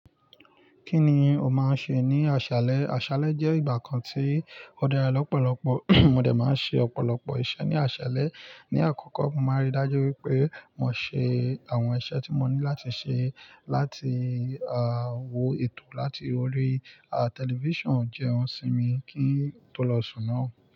Kí ni o máa ń ṣe ní aṣálẹ́? Aṣálẹ́ jẹ́ ìgbà kan tí ó dára lọ́pọ̀lọpọ̀ mo dẹ̀ máa ń ṣe ọ̀pọ̀lọpọ̀ iṣẹ́ ní aṣálẹ́. Ni àkọ́kọ́, mo máa rí dájú wípé mo ṣe àwọn iṣẹ́ tí mo ní láti ṣe láti, à, wo ètò láti orí, à, tẹlifíṣàn jẹun sí mi kí n tó lọ sùn náà.